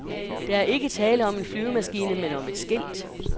Der er ikke tale om en flyvemaskine, men om et skilt.